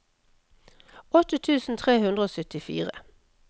åtte tusen tre hundre og syttifire